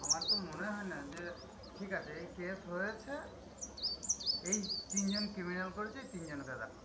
আমার তো মনে হয় না যে, ঠিক আছে এই case হয়েছে, এই তিন জন criminal করেছে এই তিন জনকে দেখাও।